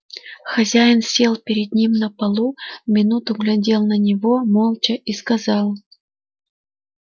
хозяин сел перед ним на полу минуту глядел на него молча и сказал